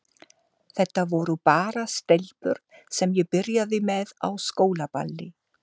Þetta voru bara stelpur sem ég byrjaði með á skólaballi.